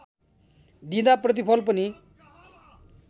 दिँदा प्रतिफल पनि